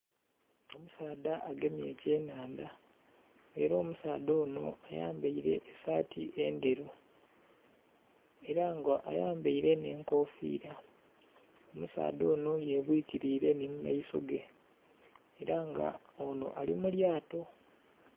Omusaadha agemye ekyenhandha. Ela omusaadha onho ayambaile esaati endheru. Ela nga ayambaile nh'enkofiila. Omusaadha onho yebwikiliile nhi mu maiso ge. Ela nga onho ali mu lyato.